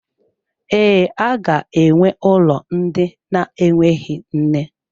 Ee, aga-enwe ụlọ ndị na-enweghị nne.